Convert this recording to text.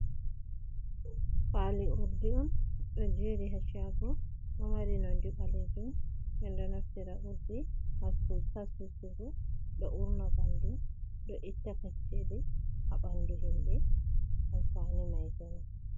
Fali urdi ɗo jeri ha shago. Ɗo mari nonde ɓaleejum, min ɗo naftira urdi ha susugo. Ɗo urna bandu, ɗo itta kacceli ha ɓandu himɓe, amfani mai kenan.